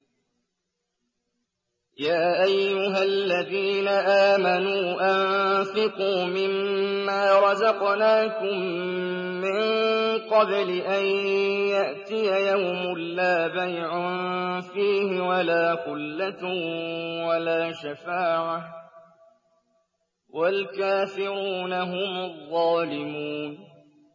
يَا أَيُّهَا الَّذِينَ آمَنُوا أَنفِقُوا مِمَّا رَزَقْنَاكُم مِّن قَبْلِ أَن يَأْتِيَ يَوْمٌ لَّا بَيْعٌ فِيهِ وَلَا خُلَّةٌ وَلَا شَفَاعَةٌ ۗ وَالْكَافِرُونَ هُمُ الظَّالِمُونَ